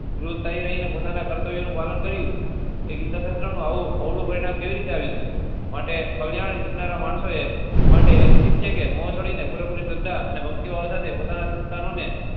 રોજ્શાહી રહી ને પોતાના કર્તવ્ય નું પાલન કર્યું એ ગીતા શાસ્ત્ર નું આવું અવળું પરિણામ કેવી રીતે આવી સકે માટે કલ્યાણ ઇચ્છનારા માણસો એ માટે એ ઉચિત છે કે હું છોડી ને પૂરે પૂરી શ્રદ્ધા અને ભક્તિ ભાવ સાથે પોતાના સંતાનો ને